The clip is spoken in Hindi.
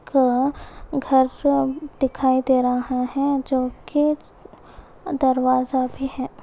घ-घर दिखाई दे रहा है जो कि दरवाजा भी है।